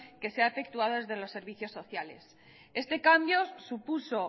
que se ha efectuado desde los servicios sociales este cambio supuso